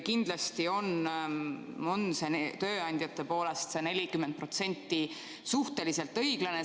Kindlasti on see tööandjate poolest, see 40%, suhteliselt õiglane.